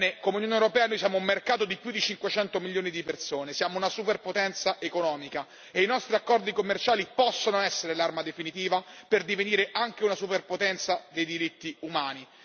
Come Unione europea noi siamo un mercato di più di 500 milioni di persone, siamo una superpotenza economica e i nostri accordi commerciali possono essere l'arma definitiva per divenire anche una superpotenza dei diritti umani.